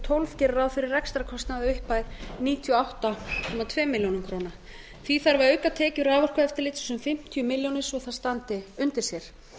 tólf gerir ráð fyrir rekstrarkostnaði að upphæð níutíu og átta komma tveimur milljónum króna því þarf að auka tekjur raforkueftirlitsins um fimmtíu milljónir svo að það standi undir sér